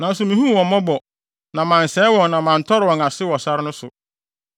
Nanso mihuu wɔn mmɔbɔ, na mansɛe wɔn na mantɔre wɔn ase wɔ sare no so.